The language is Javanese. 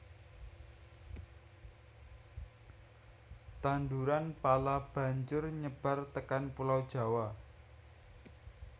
Tanduran pala banjur nyebar tekan pulau Jawa